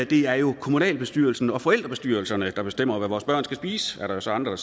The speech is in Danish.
det er jo kommunalbestyrelsen og forældrebestyrelserne der bestemmer hvad vores børn skal spise er der så andre